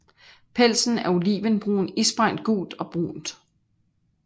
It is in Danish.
Pelsen er olivenbrun isprængt gult og brunt